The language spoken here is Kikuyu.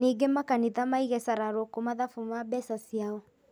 Ningĩ makanitha maige cararũkũ mathabu ma mbeca ciao